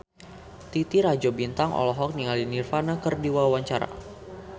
Titi Rajo Bintang olohok ningali Nirvana keur diwawancara